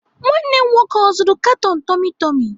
Nwanne m nwoke ọ zụrụ katon tummy tummy?